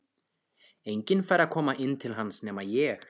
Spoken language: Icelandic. Enginn fær að koma inn til hans nema ég.